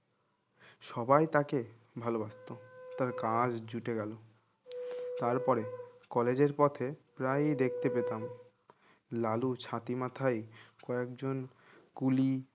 সবাই তাকে ভালোবাসতো তার কাজ জুটে গেল তারপরে কলেজের পথে প্রায়ই দেখতে পেতাম লালু ছাতি মাথায় কয়েকজন কুলি